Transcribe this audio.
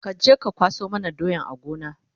kaje ka kwaso mana doyan a Gona!